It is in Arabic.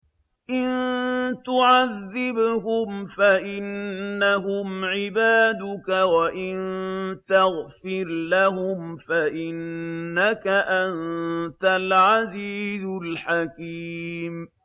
إِن تُعَذِّبْهُمْ فَإِنَّهُمْ عِبَادُكَ ۖ وَإِن تَغْفِرْ لَهُمْ فَإِنَّكَ أَنتَ الْعَزِيزُ الْحَكِيمُ